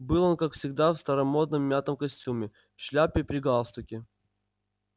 был он как всегда в старомодном мятом костюме в шляпе при галстуке